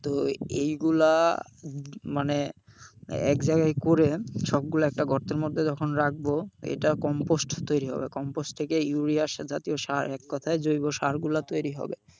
তো এইগুলা মানে একজায়গায় করে সবগুলো একটা গর্তের মধ্যে যখন রাখবো এটা compost তৈরি হবে compost থেকে ইউরিয়া জাতীয় সার এককথায় জৈবসারগুলা তৈরি হবে।